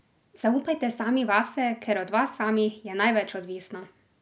Zaupajte sami vase, ker od vas samih je največ odvisno.